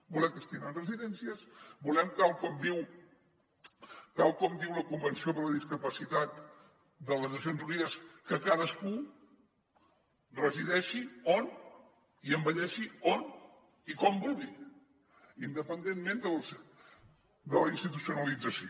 volem que estiguin en residències volem tal com diu la convenció sobre la discapacitat de les nacions unides que cadascú resideixi on i envelleixi on i com vulgui independentment de la institucio·nalització